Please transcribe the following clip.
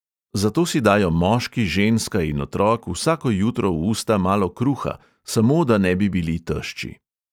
Zato si dajo moški, ženska in otrok vsako jutro v usta malo kruha, samo da ne bi bili tešči.